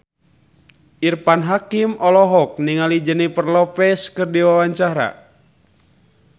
Irfan Hakim olohok ningali Jennifer Lopez keur diwawancara